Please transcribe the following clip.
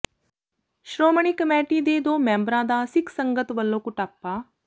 Shiromani committee ਦੇ ਦੋ ਮੈਂਬਰਾਂ ਦਾ ਸਿੱਖ ਸੰਗਤ ਵੱਲੋਂ ਕੁੱਟਾਪਾ